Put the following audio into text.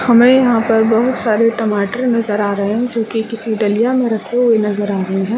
हमे यहाँ पर बहोत सारे टमाटर नज़र आ रहे है जो की किसी डलिआ में रखे हुए नज़र आ रहे है ।